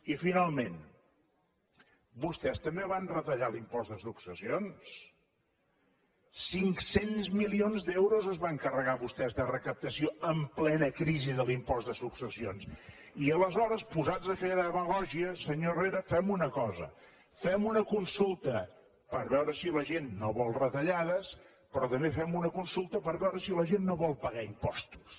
i finalment vostès també van retallar l’impost de successions cinc cents milions d’euros es van carregar vostès de recaptació en plena crisi de l’impost de successions i aleshores posats a fer demagògia senyor herrera fem una cosa fem una consulta per veure si la gent no vol retallades però també fem una consulta per veure si la gent no vol pagar impostos